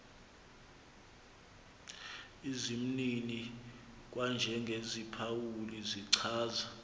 izimnini kwanjengeziphawuli zichaza